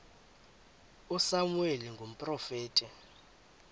usamuweli ukuba ngumprofeti